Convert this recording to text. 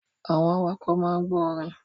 Àwọn awakọ̀ máa ń gbọ orin.